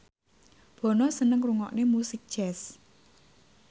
Bono seneng ngrungokne musik jazz